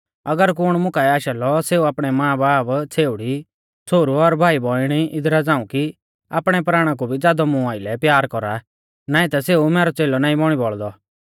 अगर कुण मुकाऐ आशा लौ सेऊ आपणै मांबाब छ़ेउड़ी छ़ोहरु और भाई बौइणी इदरा झ़ांऊ कि आपणै प्राणा कु भी ज़ादौ मुं आइलै प्यार कौरा नाईं ता सेऊ मैरौ च़ेलौ नाईं बौणी बौल़दौ